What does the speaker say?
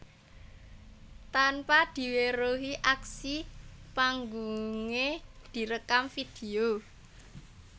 Tanpa diweruhi aksi panggungé direkam vidéo